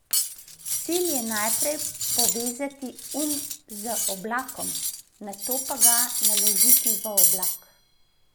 Cilj je najprej povezati um z oblakom, nato pa ga naložiti v oblak.